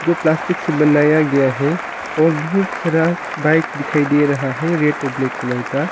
जो प्लास्टिक से बनाया गया है और बहुत सारा बाइक दिखाई दे रहा है रेड और ब्लैक कलर का।